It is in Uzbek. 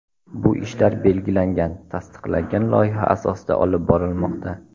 Bu ishlar belgilangan, tasdiqlangan loyiha asosida olib borilmoqda.